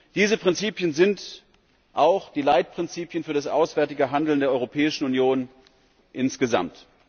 Diese Prinzipien sind auch die Leitprinzipien für das auswärtige Handeln der Europäischen Union insgesamt.